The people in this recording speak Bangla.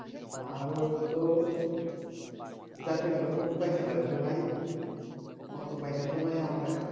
আরব তো যাইতে গেলে বহুত পয়সা লাগবে ভাই অত পয়সা তো নাই আমার কাছে